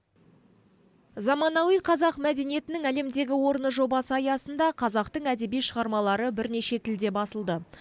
заманауи қазақ мәдениетінің әлемдегі орны жобасы аясында қазақтың әдеби шығармалары бірнеше тілде басылды